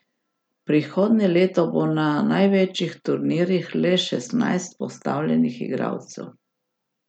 Prihodnje leto bo na največjih turnirjih le šestnajst postavljenih igralcev.